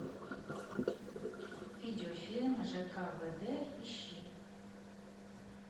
видеофильм ж к в д ищи